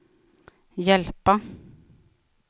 hjälpa